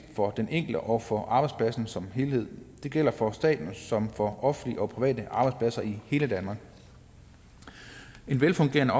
for den enkelte og for arbejdspladsen som helhed det gælder for staten som for offentlige og private arbejdspladser i hele danmark en velfungerende